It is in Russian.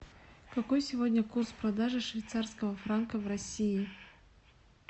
какой сегодня курс продажи швейцарского франка в россии